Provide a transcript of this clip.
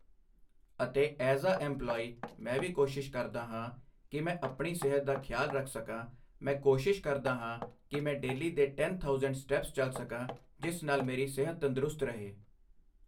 ਅਤੇ as a employee ਮੈਂ ਵੀ ਕੋਸ਼ਿਸ਼ ਕਰਦਾ ਹਾਂ ਕਿ ਮੈਂ ਆਪਣੀ ਸਿਹਤ ਦਾ ਖਿਆਲ ਰੱਖ ਸਕਾਂ ਮੈਂ ਕੋਸ਼ਿਸ਼ ਕਰਦਾ ਹਾਂ ਕਿ ਮੈਂ ਡੇਲੀ ਦੇ ਟੈਨ ਥਾਊਸੈਂਡ ਸਟੈਪਸ ਚੱਲ ਸਕਾਂ ਜਿਸ ਨਾਲ ਮੇਰੀ ਸਿਹਤ ਤੰਦਰੁਸਤ ਰਹੇ